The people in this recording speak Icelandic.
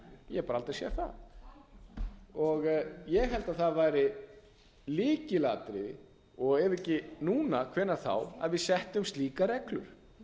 ég hef bara aldrei séð það ég held að það væri lykilatriði og ef ekki núna hvenær þá að við settum slíkar reglur